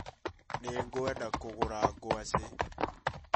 Nĩngwenda kũruga ngwacĩ